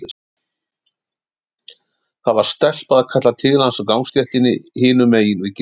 Það var stelpa að kalla til hans á gangstéttinni hinum megin við girðinguna.